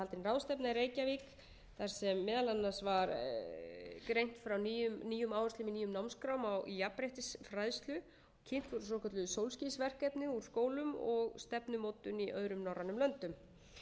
meðal annars var greint frá nýjum áherslum í nýjum námskrám í jafnréttisfræðslu kynnt hin svokölluðu sólskinsverkefni úr skólum og stefnumótun í öðrum norrænum löndum